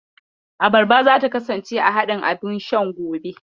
Abarba zata kasance a haɗin abun shan gobe.